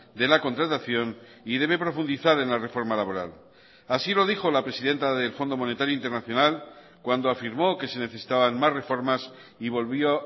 de la contratación y debe profundizar en la reforma laboral así lo dijo la presidenta del fondo monetario internacional cuando afirmó que se necesitaban más reformas y volvió